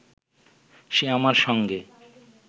সে আমার সঙ্গে